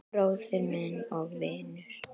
Bróðir og vinur.